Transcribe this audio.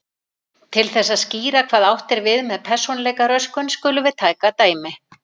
Til þess að skýra hvað átt er við með persónuleikaröskun skulum við taka dæmi.